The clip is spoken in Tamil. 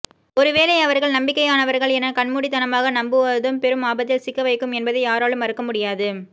ஒரு வேளை அவர்கள் நம்பிக்கையானவர்கள் என கண்மூடித்தமாக நம்புவுவதும் பெரும் ஆபத்தில் சிக்க வைக்கும் என்பதை யாராலும் மறுக்க முடியாது